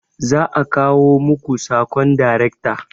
Za'a kawo maku sakon daracta